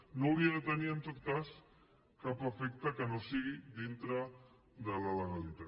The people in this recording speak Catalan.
no hauria de tenir en tot cas cap efecte que no sigui dintre de la legalitat